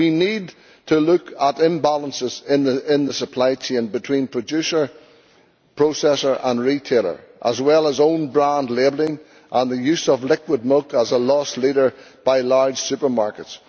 We need to look at imbalances in the supply chain between producer, processor and retailer, as well as own-brand labelling and the use of liquid milk as a loss leader by large supermarkets.